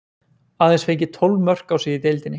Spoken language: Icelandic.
Aðeins fengið tólf mörk á sig í deildinni.